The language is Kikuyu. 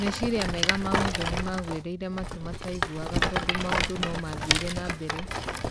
Meciria mega ma Mũthoni magũĩrĩire matũ mataiguaga tondũ maũndũ no mathire na mbere